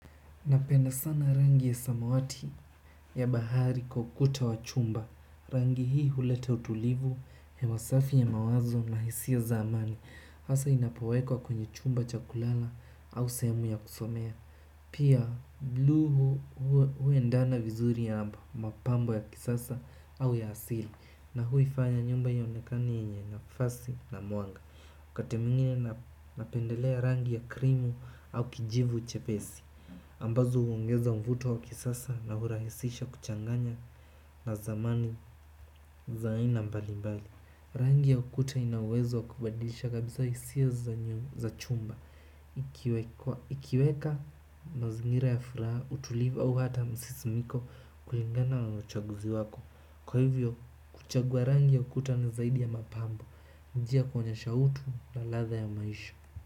Napenda sana rangi ya samawati ya bahari kwa ukuta wa chumba. Rangi hii huleta utulivu, hewa safi ya mawazo na hisia za amani hasa inapowekwa kwenye chumba cha kulala au sehemu ya kusomea. Pia bluu huendana vizuri amba mapambo ya kisasa au ya asili, na huifanya nyumba ionekane yenye nafasi na mwanga. Wakati mwingine napendelea rangi ya krimu au kijivu chepesi. Ambazo huongeza mvuto wa kisasa na hurahisisha kuchanganya na zamani za aina mbali mbali. Rangi ya ukuta ina uwezo wa kubadilisha kabisa hisia za chumba ikiwekwa, ikiweka mazingira ya furaha utulivu au hata msisimiko kulingana na uchaguzi wako. Kwa hivyo kuchagua rangi ya ukuta ni zaidi ya mapambo. Ni njia ya kuonyesha utu na ladha ya maisha.